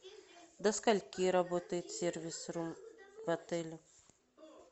до скольки работает сервис рум в отеле